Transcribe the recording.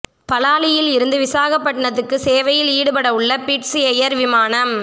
பலாலியில் இருந்து விசாகப்பட்டினத்துக்கு சேவையில் ஈடுபடவுள்ள பிட்ஸ் எயர் விமானம்